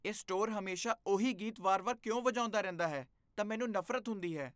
ਇਹ ਸਟੋਰ ਹਮੇਸ਼ਾ ਉਹੀ ਗੀਤ ਵਾਰ ਵਾਰ ਕਿਉਂ ਵਜਾਉਂਦਾ ਰਹਿੰਦਾ ਹੈ ਤਾਂ ਮੈਨੂੰ ਨਫ਼ਰਤ ਹੁੰਦੀ ਹੈ